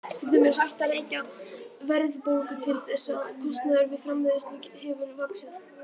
Stundum er hægt að rekja verðbólgu til þess að kostnaður við framleiðslu hefur vaxið.